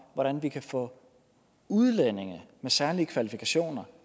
hvordan vi kan få udlændinge med særlige kvalifikationer